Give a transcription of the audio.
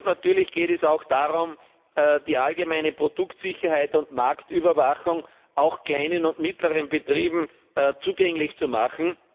Natürlich geht es auch darum, die allgemeine Produktsicherheit und Marktüberwachung auch kleinen und mittleren Unternehmen zugänglich zu machen.